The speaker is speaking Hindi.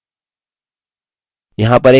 यहाँ पर एक नियत कार्य है